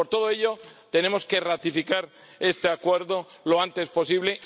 Por todo ello, tenemos que ratificar este Acuerdo lo antes posible.